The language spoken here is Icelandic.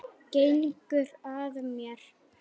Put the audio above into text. Gengur að mér.